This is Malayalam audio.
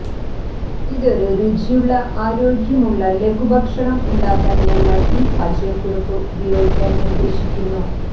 ഇതൊരു രുചിയുള്ള ആരോഗ്യമുള്ള ലഘുഭക്ഷണം ഉണ്ടാക്കാൻ ഞങ്ങൾ ഈ പാചകക്കുറിപ്പ് ഉപയോഗിക്കാൻ നിർദ്ദേശിക്കുന്നു